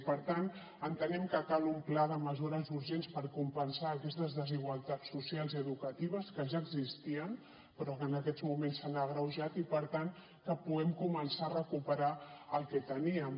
i per tant entenem que cal un pla de mesures urgents per compensar aquestes desigualtats socials i educatives que ja existien però que en aquests moments s’han agreujat i per tant que puguem començar a recuperar el que teníem